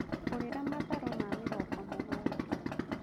Ngũrĩra matharũ ma mĩrongo mũgwanja